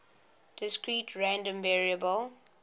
discrete random variable